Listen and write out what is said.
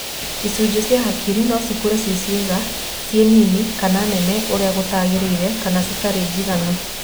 Icujĩ cia hakiri no cikore ci kiaga, si nini kana nene ũrĩa gũtangĩrĩire kana citarĩ jiganu.